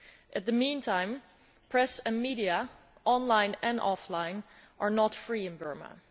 In the meantime, press and media both online and offline are not free in Burma.